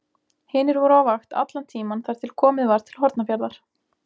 Hinir voru á vakt allan tímann þar til komið var til Hornafjarðar.